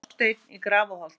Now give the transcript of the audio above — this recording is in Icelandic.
Grásteinn í Grafarholti